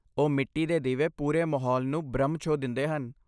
ਉਹ ਮਿੱਟੀ ਦੇ ਦੀਵੇ ਪੂਰੇ ਮਾਹੌਲ ਨੂੰ ਬ੍ਰਹਮ ਛੋਹ ਦਿੰਦੇ ਹਨ।